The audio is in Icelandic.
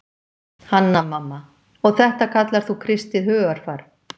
Hanna-Mamma:- Og þetta kallar þú kristið hugarfar.